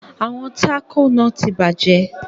Àwọn taco náà tí bàjẹ́.